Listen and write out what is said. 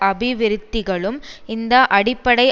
அபிவிருத்திகளும் இந்த அடிப்படை